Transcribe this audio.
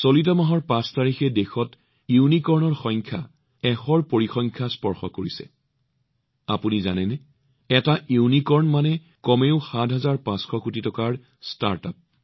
এই মাহৰ ৫ তাৰিখে দেশত ইউনিকৰ্নৰ সংখ্যা ১০০ ৰ সংখ্যাত উপনীত হৈছে আৰু আপোনালোকে জানেনে এটা ইউনিকৰ্ন অৰ্থাৎ কমেও ৭৫০০ কোটি টকাৰ ষ্টাৰ্টআপ